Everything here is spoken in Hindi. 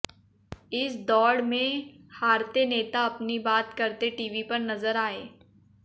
इस दौड में हारते नेता अपनी बात करते टीवी पर नजर आए